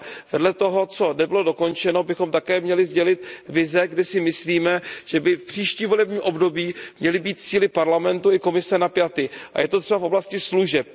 Vedle toho, co nebylo dokončeno, bychom také měli sdělit vize, kde si myslíme, že by v příštím volebním období měly být cíle Parlamentu i Komise napjaty, je to třeba v oblasti služeb.